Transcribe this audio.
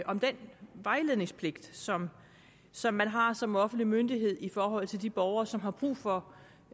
om den vejledningspligt som som man har som offentlig myndighed i forhold til de borgere som har brug for